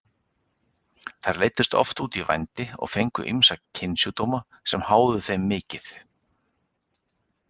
Þær leiddust oft út í vændi og fengu ýmsa kynsjúkdóma sem háðu þeim mikið.